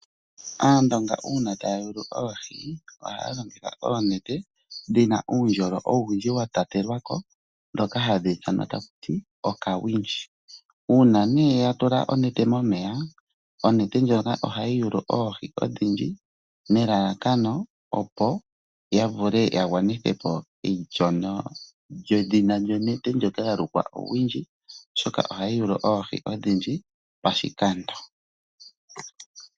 Aandonga uuna taya yulu oohi ohaya longitha oonete dhi na uundjolo owundji wa tatelwa ko ndhoka hadhi ithanwa taku ti okawindji. Uuna nduno ya tula oneta momeya, oneta ndjoka ohayi yulu oohi odhindji nelalakano ya vule ya gwanithe po edhina lyonete ndjoka ya lukwa kutya uuwindji, oshoka ohayi yulu oohi odhindji pashikando.